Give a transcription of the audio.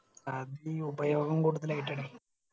അത് ഉപയോഗം കൂടുതലായിട്ടാണ്